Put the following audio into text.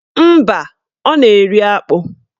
Mba, ọ na-eri akpụ